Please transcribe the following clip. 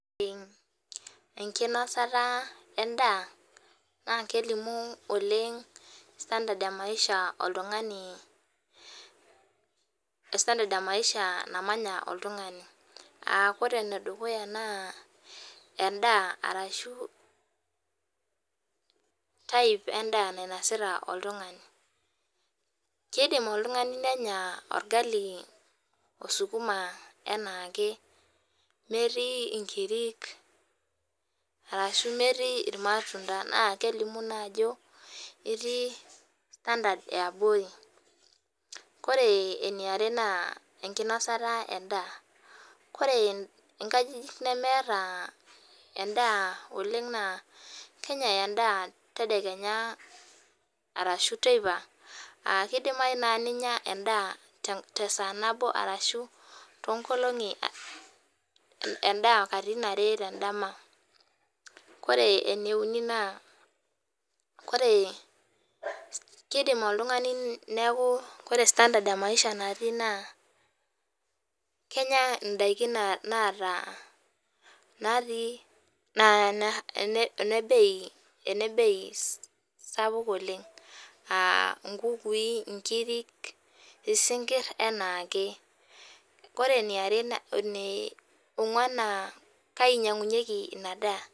Enkinosata endaa naa kelimu standard ee Maisha namanya oltung'ani aa oree enedukunya naa endaa ashuu Type endaa nainosita oltung'ani keidim oltung'ani nenyaa olgali oo sukuma anaakemetii inkiri ashuu metii il maumda]naa kelimu ajo itii standard eee abori oree eniare naa enkinosata endaa, oree inkajijik nemeeta endaa oleng naa kenyai endaa tadekenya ashuu teipa keidimayu naa ninya endaa katitin are tendama oree eneuni naa oree keidim oltung'ani neaku oree Standard ee Maisha natii naa kenyaa indaiki naata aa naa ene Bei sapuk oleng anaa inkukui, inkirik, isinkir anaake oree eneong'wan naa kainyang'unyeki inaa daa..